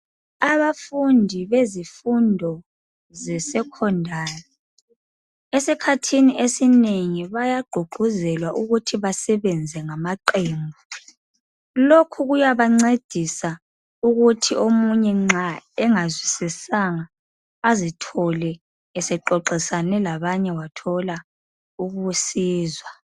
Abafundi bezifundo zesecondary esikhathini esinengi bayagqugquzelwa ukuthi basebenze ngamaqembu .Lokhu kuyabancedisa ukuthi omunye nxa engazwisisanga azithole esexoxisane labanye wathola ukusizwa .